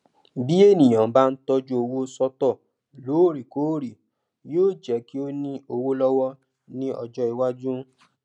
bí ènìyàn bá ń tọjú owó sọtọ lóòrèkóòrè yóó jẹ kí ó ní owó lọwọ ní ọjọ iwájú